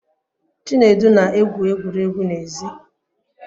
Chinedu na-egwu egwuregwu n'èzí